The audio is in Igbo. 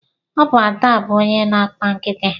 Ọ bụ Ada bụ onye na-akpa nkịta.